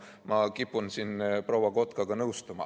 Ma kipun siin proua Kotkaga nõustuma.